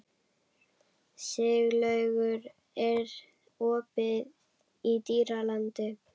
Siglaugur, er opið í Dýralandi?